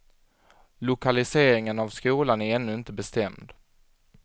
Lokaliseringen av skolan är ännu inte bestämd.